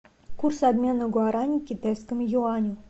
курс обмена гуарани к китайскому юаню